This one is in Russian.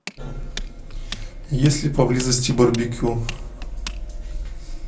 есть ли поблизости барбекю